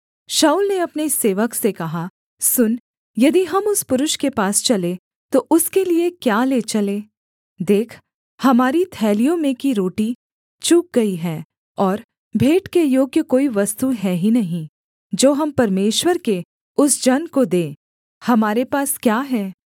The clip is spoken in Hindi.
शाऊल ने अपने सेवक से कहा सुन यदि हम उस पुरुष के पास चलें तो उसके लिये क्या ले चलें देख हमारी थैलियों में की रोटी चुक गई है और भेंट के योग्य कोई वस्तु है ही नहीं जो हम परमेश्वर के उस जन को दें हमारे पास क्या है